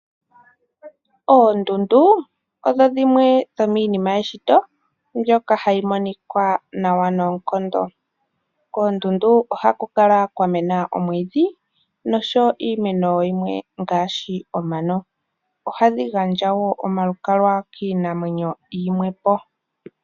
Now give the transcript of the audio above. Oondundu odho dhimwe dhominima yeshito dhoka hadhi monika nawa nonkondo, oha ku kala kwa mena omwidhi oshowo omano noku gandja omi zile kiinamwenyo yimwepo.